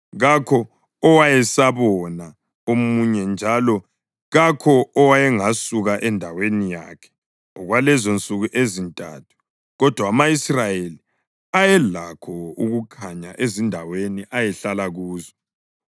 Kakho owayesabona omunye njalo kakho owayengasuka endaweni yakhe okwalezonsuku ezintathu. Kodwa ama-Israyeli ayelakho ukukhanya ezindaweni ayehlala kuzo.